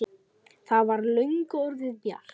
Það var löngu orðið bjart.